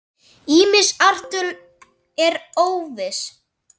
Ýmis ártöl eru óviss.